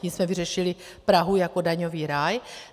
Tím jsme vyřešili Prahu jako daňový ráj.